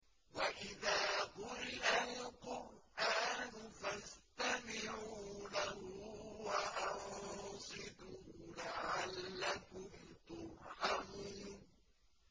وَإِذَا قُرِئَ الْقُرْآنُ فَاسْتَمِعُوا لَهُ وَأَنصِتُوا لَعَلَّكُمْ تُرْحَمُونَ